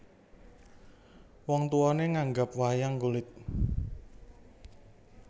Wong tuwané nanggap wayang kulit